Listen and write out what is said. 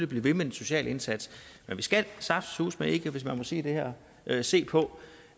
blive ved med den sociale indsats men vi skal saftsuseme hvis man må sige det her ikke se på